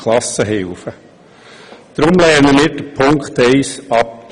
Deshalb lehnen wir Punkt 1 ab.